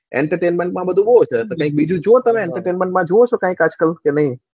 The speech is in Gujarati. entertainment માં બધું સુ હોય છે બીજું તમે કઈ બીજું જોવો entertainment માં જોવો છે આજકાલ કે નાઈ?